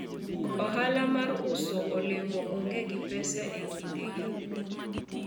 ohala mar uso olemo onge gi pesa e kinde gi